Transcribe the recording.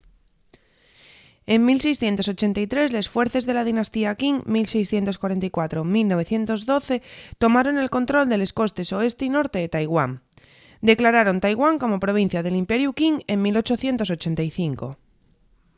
en 1683 les fuerces de la dinastía qing 1644-1912 tomaron el control de les costes oeste y norte de taiwán; declararon taiwán como provincia del imperiu qing en 1885